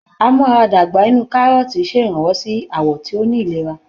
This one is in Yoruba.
A-mú-ara-dàgbà inú kárọ́ọ̀tì ṣèrànwọ́ sí àwọ̀ tí ó ní ìlera